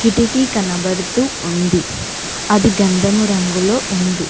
కిటికీ కనబడుతూ ఉంది అది గంధము రంగులో ఉంది.